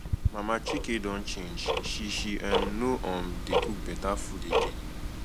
mama chike don change she she um no um dey cook beta food again